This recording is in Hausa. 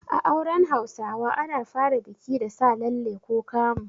A auren Hausawa ana fara biki da Sa lalle ko kamu.